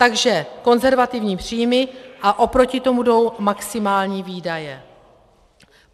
Takže konzervativní příjmy a oproti tomu jdou maximální výdaje.